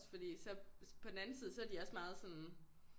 Også fordi så på den anden side så er de også meget sådan